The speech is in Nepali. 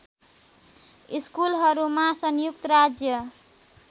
स्कुलहरूमा संयुक्त राज्य